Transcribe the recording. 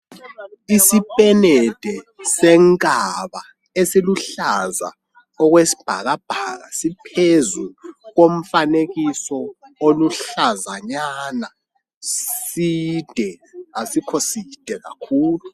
Isipenede senkaba esiluhlaza okwesibhakabhaka, siphezu komfanekiso oluhlazanyana. Side asikho side kakhulu.